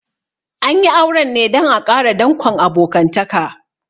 An yi auren ne dan a ƙara dankon abokantaka